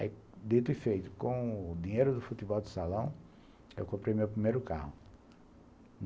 Aí, dito e feito, com o dinheiro do futebol de salão, eu comprei meu primeiro carro.